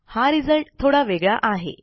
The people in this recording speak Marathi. हा रिझल्ट थोडा वेगळा आहे